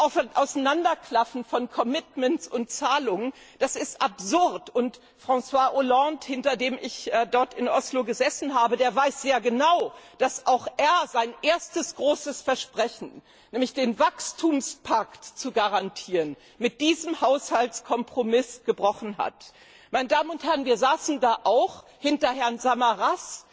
Das Auseinanderklaffen von Commitments und Zahlungen ist absurd. Herr François Hollande, hinter dem ich in Oslo gesessen habe, weiß sehr genau, dass auch er sein erstes großes Versprechen, nämlich den Wachstumspakt zu garantieren, mit diesem Haushaltskompromiss gebrochen hat. Meine Damen und Herren, wir saßen dort auch hinter Herrn Samaras,